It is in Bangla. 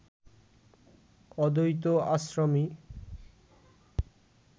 অদ্বৈত আশ্রমই